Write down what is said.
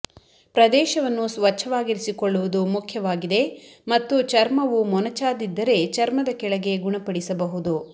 ಪ್ರದೇಶವನ್ನು ಸ್ವಚ್ಛವಾಗಿರಿಸಿಕೊಳ್ಳುವುದು ಮುಖ್ಯವಾಗಿದೆ ಮತ್ತು ಚರ್ಮವು ಮೊನಚಾದಿದ್ದರೆ ಚರ್ಮದ ಕೆಳಗೆ ಗುಣಪಡಿಸಬಹುದು